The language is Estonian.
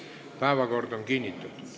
Päevakord on kinnitatud.